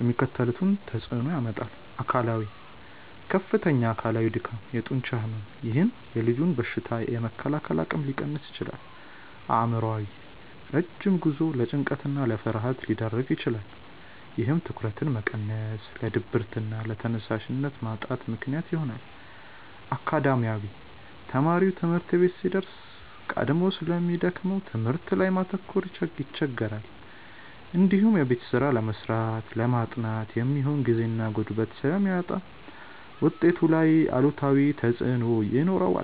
የሚከተሉትን ተጽዕኖዎች ያመጣል፦ አካላዊ፦ ከፍተኛ አካላዊ ድካም፣ የጡንቻ ሕመም፥፥ ይህም የልጁን በሽታ የመከላከል አቅም ሊቀንስ ይችላል። አእምሯዊ፦ ረጅም ጉዞው ለጭንቀትና ለፍርሃት ሊዳርግ ይችላል። ይህም ትኩረትን በመቀነስ ለድብርትና ለተነሳሽነት ማጣት ምክንያት ይሆናል። አካዳሚያዊ፦ ተማሪው ትምህርት ቤት ሲደርስ ቀድሞ ስለሚደክመው በትምህርቱ ላይ ማተኮር ይቸገራል። እንዲሁም የቤት ስራ ለመስራትና ለማጥናት የሚሆን ጊዜና ጉልበት ስለሚያጣ ውጤቱ ላይ አሉታዊ ተጽዕኖ ይኖረዋል።